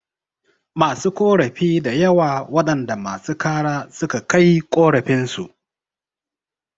Masu korafi dayawa waɗanda masu kara suka kai korafin su